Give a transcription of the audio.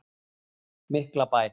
Miklabæ